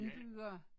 Ja